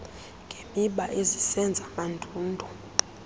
ngemiba ezisenza mandundu